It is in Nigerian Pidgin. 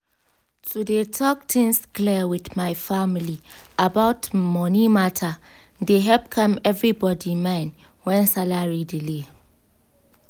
to dey talk things clear with my family about money matter dey help calm everybody mind when salary delay.